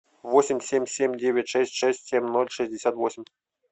восемь семь семь девять шесть шесть семь ноль шестьдесят восемь